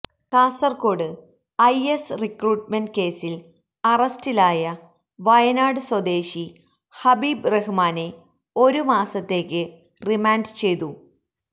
Kasaragod IS recruitment കേസില് അറസ്റ്റിലായ വയനാട് സ്വദേശി ഹബീബ് റഹ്മാനെ ഒരു മാസത്തേക്ക് റിമാന്ഡ് ചെയ്തു